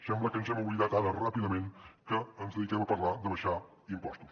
sembla que ens hem oblidat ràpidament ara que ens dediquem a parlar d’abaixar impostos